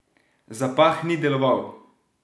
Zapah ni deloval!